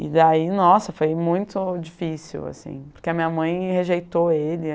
E daí, nossa, foi muito difícil, assim, porque a minha mãe rejeitou ele.